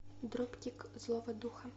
дропкик злого духа